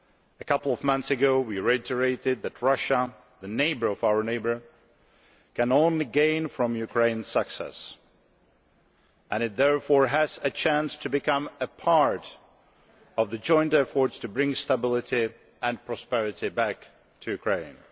A couple of months ago, we reiterated that Russia the neighbour of our neighbour can only gain from Ukraine's success and it therefore has a chance to become a part of the joint efforts to bring stability and prosperity back to Ukraine.